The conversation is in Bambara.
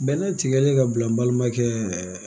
Bɛnɛ tigɛlen ka bila n balimakɛ